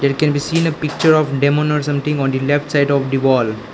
we can be seen a picture of demon or something on the left side of the wall.